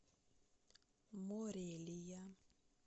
морелия